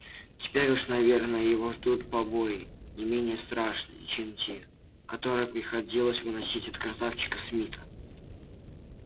теперь уж наверное его ждут побои не менее страшные чем те которые приходилось выносить от красавчика смита